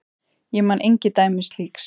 Ég man engin dæmi slíks.